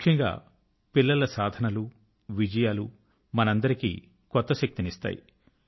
ముఖ్యంగా పిల్లల సాధనలు విజయాలు మనకందరికీ కొత్త శక్తి ని ఇస్తాయి